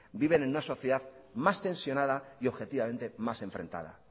viven en una sociedad más tensionada y objetivamente más enfrentada